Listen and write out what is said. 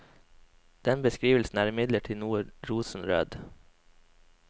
Den beskrivelsen er imidlertid noe rosenrød.